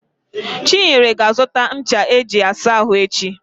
Chinyere ga-azụta ncha eji asa ahụ echi.